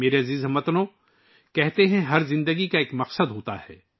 میرے پیارے ہم وطنوں، یہ کہا جاتا ہے کہ ہر زندگی کا ایک مقصد ہوتا ہے